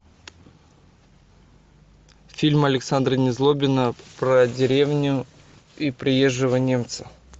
фильм александра незлобина про деревню и приезжего немца